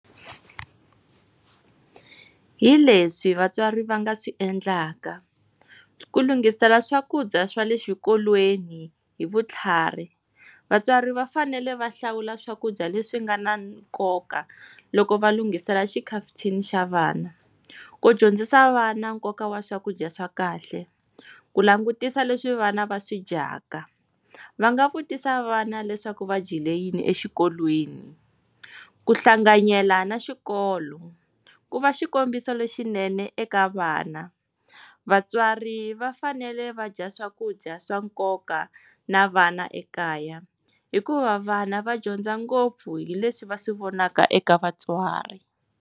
Hi leswi vatswari va nga swi endlaka, ku lunghisela swakudya swa le xikolweni hi vutlhari. Vatswari va fanele va hlawula swakudya leswi nga na nkoka loko va lunghisela xikhafuthini xa vana, ku dyondzisa vana nkoka wa swakudya swa kahle, ku langutisa leswi vana va swi dyaka, va nga vutisa vana leswaku va dyile yini exikolweni. ku hlanganyela na xikolo ku va xikombiso lexinene eka vana. Vatswari va fanele va dya swakudya swa nkoka na vana ekaya, hikuva vana va dyondza ngopfu hi leswi va swi vonaka eka vatswari.